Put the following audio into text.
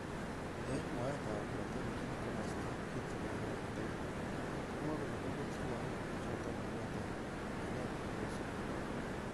Eng mwaet ab netelejin kimosta kitikin nebo Etago komwaekole koibutyi lakok chotok ainet kobunu sukul.